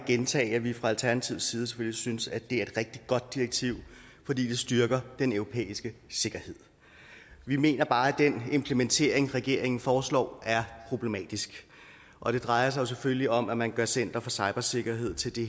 gentage at vi fra alternativets side selvfølgelig synes at det er et rigtig godt direktiv fordi det styrker den europæiske sikkerhed vi mener bare at den implementering regeringen foreslår er problematisk og det drejer sig selvfølgelig om at man gør center for cybersikkerhed til det